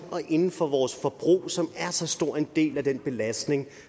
og inden for vores forbrug som er så stor en del af den belastning